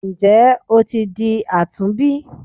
Nje o ti di àtúnbí?